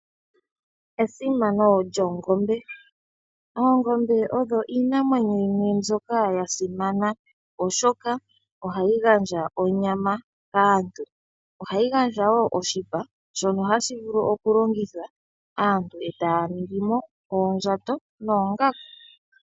Esimano lyoongombe, oongombe odho iinamwenyo yimwe mbyoka yasimana oshoka ohayi gandja onyama kaantu. Ohayi gandja wo oshipa shono hashi vulu okulongithwa, aantu etaya ningi mo oondjato noongaku.